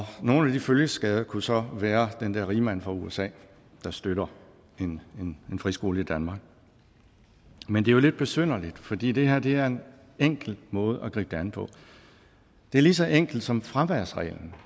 nogle af de følgeskader kunne så være den der rigmand fra usa der støtter en friskole i danmark men det er jo lidt besynderligt fordi det her er en enkel måde at gribe det an på det er lige så enkelt som fraværsreglen